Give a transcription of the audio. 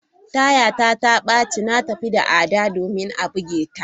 Taya ta baci, na tafi tare da Ada domin a buge ta.